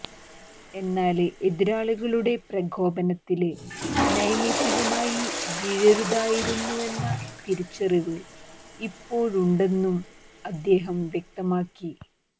എന്നാല് എതിരാളികളുടെ പ്രകോപനത്തില് നൈമിഷകമായി വീഴരുതായിരുന്നുവെന്ന തിരിച്ചറിവ് ഇപ്പോഴുണ്ടെന്നും അദ്ദേഹം വ്യക്തമാക്കി